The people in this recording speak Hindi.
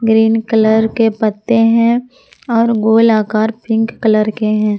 ग्रीन कलर के पत्ते हैं और गोल आकार पिंक कलर के हैं।